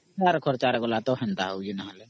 ଅମ୍